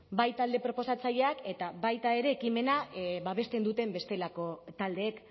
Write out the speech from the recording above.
bai talde proposatzaileak eta baita ere ekimena babesten duten bestelako taldeek